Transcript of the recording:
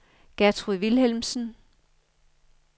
Gertrud Vilhelmsen